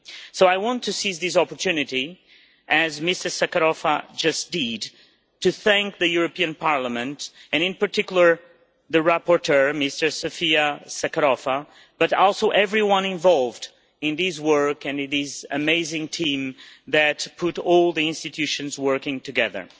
So I want to seize this opportunity, as Ms Sakorafa just did, to thank the European Parliament, and in particular the rapporteur, Ms Sofia Sakorafa, but also everyone involved in this work and this amazing team that put all the institutions working together.